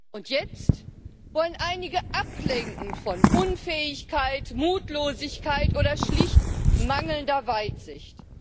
Und jetzt wollen einige ablenken von Unfähigkeit, Mutlosigkeit oder schlicht mangelnder Weitsicht.